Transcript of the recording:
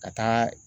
Ka taa